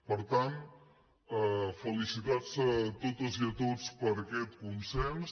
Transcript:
per tant felicitats a totes i a tots per aquest consens